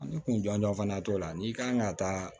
Ani kun jɔnjɔn fana t'o la n'i kan ka taa